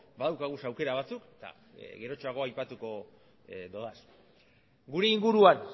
badaukagu aukera batzuk eta gerotxoago aipatuko ditut gure inguruan